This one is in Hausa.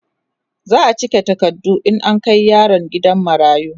za'a cika takardu in an Kai yaron gidan marayu